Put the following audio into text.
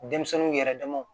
Denmisɛnninw yɛrɛdamaw